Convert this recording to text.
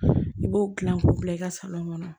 I b'o dilan k'o bila i ka kɔnɔ